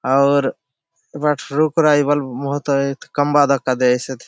आउर ए बाटे रुख राय बहुत खम्बा दखा दयेसे हैं।